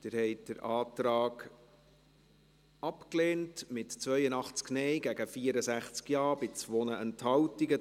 Sie haben den Antrag abgelehnt, mit 82 Nein- gegen 64 Ja-Stimmen bei 2 Enthaltungen.